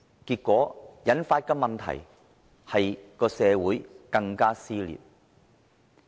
結果引發社會更撕裂的問題。